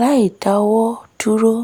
láìdáwọ́ dúró